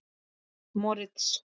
Moritz